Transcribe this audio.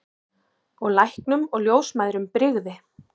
Og læknum og ljósmæðrum brygði.